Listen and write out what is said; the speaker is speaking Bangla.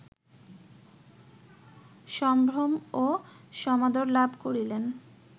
সম্ভ্রম ও সমাদর লাভ করিলেন